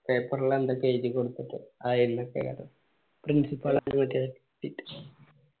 paper ല് എന്തൊക്കെ എയിതി കൊടുക്കട്ടെ ആ principal